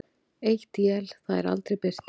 Eitt él það er aldrei birtir.